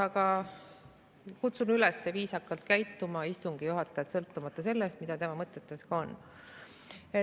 Aga kutsun istungi juhatajat üles viisakalt käituma, sõltumata sellest, mis tema mõtetes ka on.